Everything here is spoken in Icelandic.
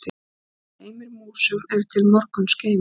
Sá geymir músum er til morguns geymir.